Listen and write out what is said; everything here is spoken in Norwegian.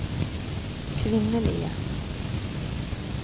kvinnelige